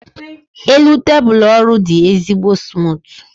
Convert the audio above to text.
elu tebụl ọrụ dị ezigbo smutu